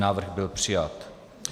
Návrh byl přijat.